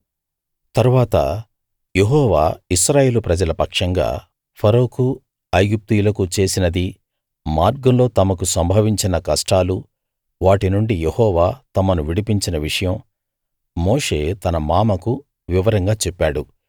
తరువాత యెహోవా ఇశ్రాయేలు ప్రజల పక్షంగా ఫరోకు ఐగుప్తీయులకు చేసినదీ మార్గంలో తమకు సంభవించిన కష్టాలూ వాటి నుండి యెహోవా తమను విడిపించిన విషయం మోషే తన మామకు వివరంగా చెప్పాడు